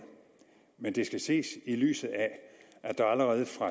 men det skal ses i lyset af at der allerede fra